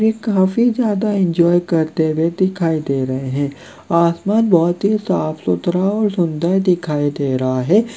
ये काफी ज्यादा इन्जॉय करते हुए दिखाई दे रहे हैं आसमान बहोत ही साफ सुथरा और सुंदर दिखाई दे रहा है।